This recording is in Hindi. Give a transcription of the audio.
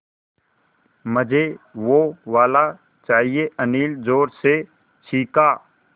मझे वो वाला चाहिए अनिल ज़ोर से चीख़ा